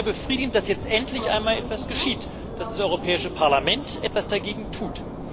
Es ist sehr befriedigend, dass jetzt endlich einmal etwas geschieht, dass das Europäische Parlament etwas dagegen tut.